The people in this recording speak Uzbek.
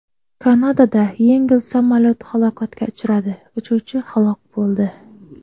Kanadada yengil samolyot halokatga uchradi, uchuvchi halok bo‘ldi.